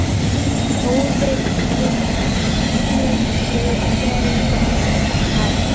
Góðir hlutir gerast hægt.